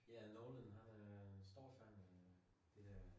Ja nogen har det stor øh fald de der